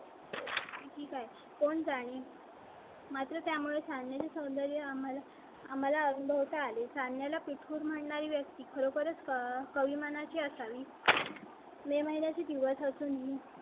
काय कोण जाणे माझ्या मुला चा नाही. सौंदर्य आम्हाला आम्हाला अनुभव कालीचरण याला पीठ म्हणणारी व्यक्ती बरोबरच कवी मनाची असावी. मे महिन्या चे दिवस असून